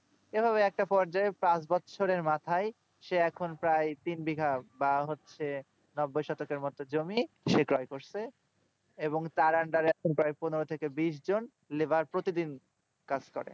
এইভাবে একটা পর্যায়য়ে পাঁচ বছরের মাথায় এই রকম প্রায় তিন বিঘা বা হচ্ছে এক দশকের মতো জমি সে ক্রয় করছে এবং তার under এ এখন প্রায় পনেরো থেকে বিশ জন labour প্রতিদিন কাজ করে